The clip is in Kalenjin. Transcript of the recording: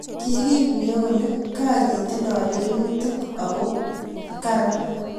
kikiguye kole ka ketindoi lelutik ako koran